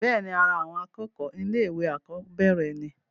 bẹ́ẹ̀ni, ara àwọn akẹ́kọ̀ọ́ ilé ìwé àkọ́bẹ̀rẹ̀ ni